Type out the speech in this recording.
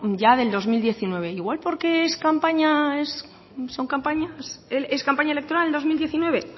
ya del dos mil diecinueve igual porque es campaña electoral el dos mil diecinueve